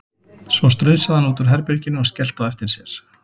Svo strunsaði hann út úr herbeginu og skellti á eftir sér.